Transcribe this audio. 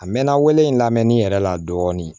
A mɛɛnna wolo in lamɛnni yɛrɛ la dɔɔnin